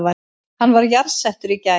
Hann var jarðsettur í gær